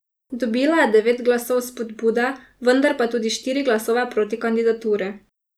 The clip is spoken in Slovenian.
Dobila je devet glasov vzpodbude, vendar pa tudi štiri glasove proti kandidaturi.